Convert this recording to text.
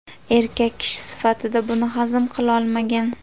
Erkak kishi sifatida buni hazm qilolmagan.